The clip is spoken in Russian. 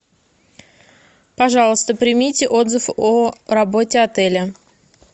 пожалуйста примите отзыв о работе отеля